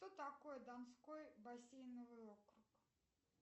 кто такой донской бассейновый округ